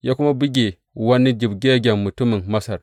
Ya kuma buge wani jibgaggen mutumin Masar.